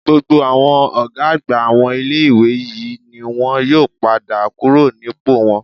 Gbogbo àwọn ọ̀gá àgbà àwọn ilé-ìwé yìí ni wọn yóò padà kúrò nípò wọn